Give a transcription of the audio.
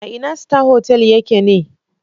A ina Star Hotel ya ke ne?